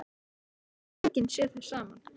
Það hefur enginn séð þau saman.